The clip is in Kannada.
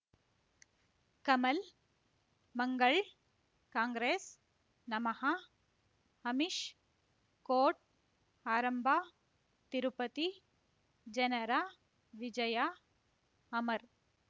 ಕಮಲ್ ಮಂಗಳ್ ಕಾಂಗ್ರೆಸ್ ನಮಃ ಅಮಿಷ್ ಕೋರ್ಟ್ ಆರಂಭ ತಿರುಪತಿ ಜನರ ವಿಜಯ ಅಮರ್